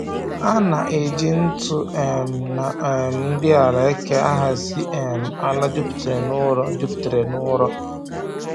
A na-eji ntụ um na um nri ala eke ahazi um ala juputara n'ụrọ juputara n'ụrọ